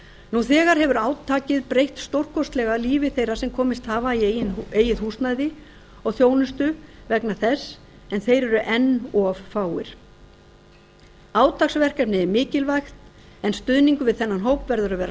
nú þegar hefur átakið breytt stórkostlega lífi þeirra sem komist hafa í eigið húsnæði og þjónustu vegna þess en þeir eru enn of fáir átaksverkefnið er mikilvægt en stuðningur við þennan hóp verður að vera